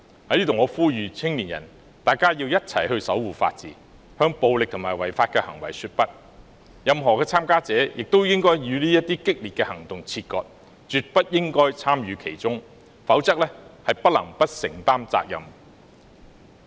我在此呼籲青年人，大家要一起守護法治，向暴力及違法行為說不，任何參加者亦應與這些激烈行動切割，絕不應參與其中，否則不能不承擔責任。